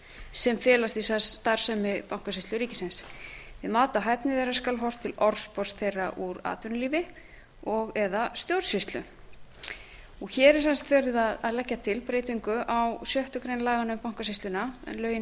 sem felast í starfsemi bankasýslu ríkisins við mat á hæfni þeirra skal horft til orðspors þeirra úr atvinnulífi og eða stjórnsýslu hér er sem sagt verið að leggja til breytingu á sjöttu grein laganna um bankasýsluna en lögin